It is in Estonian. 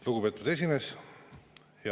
Lugupeetud esimees!